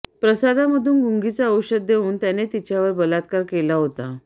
प्रसादामधून गुंगीचे औषध देऊन त्याने तिच्यावर बलात्कार केला होता